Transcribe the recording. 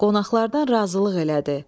Qonaqlardan razılıq elədi.